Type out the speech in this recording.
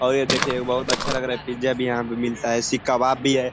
और ये देखिये एक बहुत अच्छा लग रहा है पिज़्ज़ा भी यहाँ पे मिलता है सीक कबाब भी हैं।